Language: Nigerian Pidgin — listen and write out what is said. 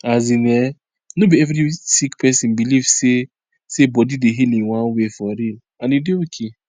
as in[um]no be every sick pesin believe say say body dey heal in one way for real and e dey ok